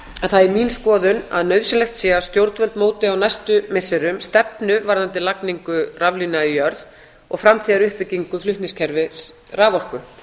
að það er mín skoðun að nauðsynlegt sé að stjórnvöld móti á næstu missirum stefnu varðandi lagningu raflína í jörð og framtíðaruppbyggingu flutningskerfis raforku